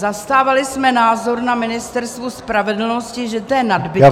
Zastávali jsme názor na Ministerstvu spravedlnosti, že to je nadbytečné -